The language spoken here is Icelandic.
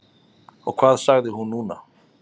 Og hvað sagði hún núna?